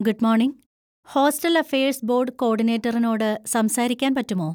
Good morning, hostel affairs board കോഡിനേറ്ററിനോട് സംസാരിക്കാൻ പറ്റുമോ?